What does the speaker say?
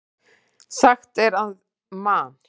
Sagt er að Man.